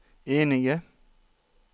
enige